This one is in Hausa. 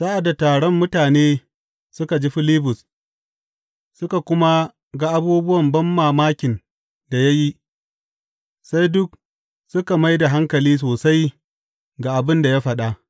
Sa’ad da taron mutane suka ji Filibus suka kuma ga abubuwan banmamakin da ya yi, sai duk suka mai da hankali sosai ga abin da ya faɗa.